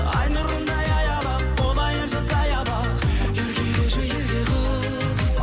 ай нұрындай аялап болайыншы саябақ еркелеші ерке қыз